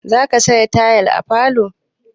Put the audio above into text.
Za ka saka tayal à falo?